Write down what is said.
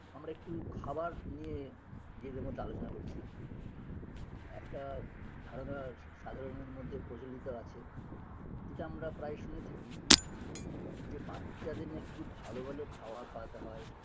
আমরা একটু খাবার নিয়ে নিজেদের মধ্যে আলোচনা করছি একটা ধারণা স সাধারনের মধ্যে প্রচলিত আছে যেটা আমরা প্রায়ই শুনে থাকি যে বাচ্চাদের নাকি খুব ভালো ভালো খাবার খাওয়াতে হয়